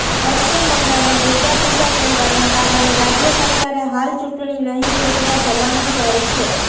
પશ્ચિમ બંગાળમાં દુર્ગા પૂજા તહેવારના કારણે રાજ્ય સરકારે હાલ ચૂંટણી નહીં યોજવા ભલામણ કરી છે